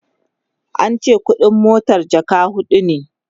ance ƙuɗin mota jaka huɗu